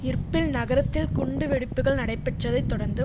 Erbil நகரத்தில் குண்டுவெடிப்புக்கள் நடைபெற்றதைத் தொடர்ந்து